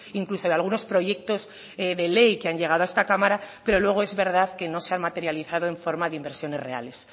incluso de algunos proyectos de ley que han llegado a esta cámara pero luego es verdad que no se han materializado en forma de inversiones reales